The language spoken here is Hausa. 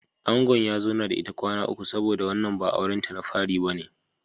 Angon ya zauna da ita kwana uku saboda wannan ba auren ta na fari bane.